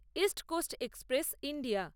east coast express India